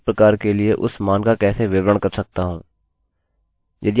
यदि आप इसका पालन नहीं करते तो यह तरीका है मैं इसे बनाने जा रहा हूँ